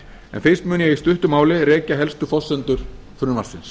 en fyrst mun ég í stuttu máli rekja helstu forsendur frumvarpsins